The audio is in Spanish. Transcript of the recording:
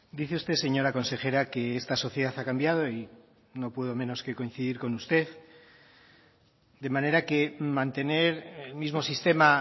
dice usted señora consejera que esta sociedad ha cambiado y no puedo menos que coincidir con usted de manera que mantener el mismo sistema